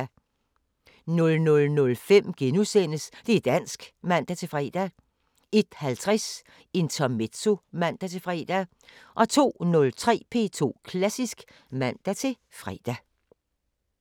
00:05: Det´ dansk *(man-fre) 01:50: Intermezzo (man-fre) 02:03: P2 Klassisk (man-fre)